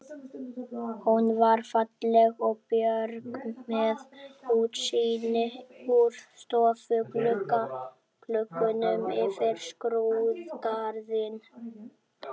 Hún var falleg og björt með útsýni úr stofugluggunum yfir skrúðgarðinn.